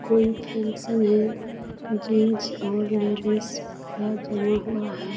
कोई फंक्शन है जेंट्स और लेडीज सब जमा हुआ है।